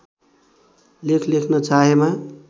लेख लेख्न चाहेमा